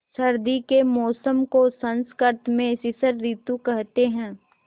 सर्दी के मौसम को संस्कृत में शिशिर ॠतु कहते हैं